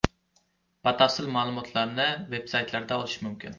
Batafsil ma’lumotlarni , veb-saytlaridan olish mumkin.